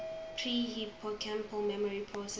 pre hippocampal memory processing